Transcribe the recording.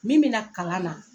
Min be na kalan na